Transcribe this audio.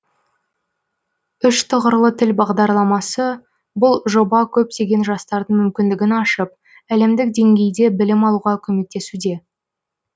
үш тұғырлы тіл бағдарламасы бұл жоба көптеген жастардың мүмкіндігін ашып әлемдік деңгейде білім алуға көмектесуде